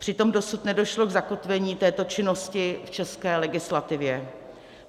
Přitom dosud nedošlo k zakotvení této činnosti v české legislativě.